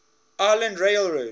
island rail road